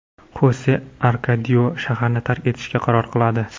Xose Arkadio shaharni tark etishga qaror qiladi.